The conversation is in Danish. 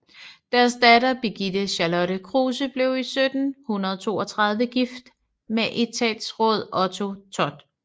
Deres datter Birgitte Charlotte Kruse blev i 1732 gift med etatsråd Otto Thott